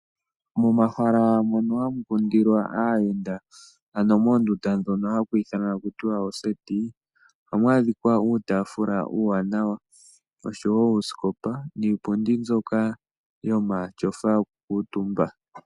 Momahala mono hamu kundilwa aayenda ano moondunda ndhono haku ithanwa taku tiwa ooseti ohamu adhika uutafula uuwanawa, oshowo uusikopa niipundi mbyoka yomatyofa yoku kuuntumba.